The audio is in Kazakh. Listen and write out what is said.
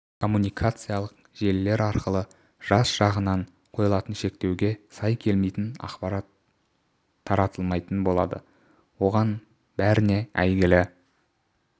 коммуникациялық желілер арқылы жас жағынан қойылған шектеуге сай келмейтін ақпарат таратылмайтын болады оған бәріне әйгілі